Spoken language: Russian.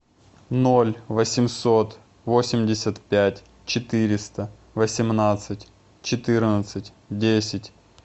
ноль восемьсот восемьдесят пять четыреста восемнадцать четырнадцать десять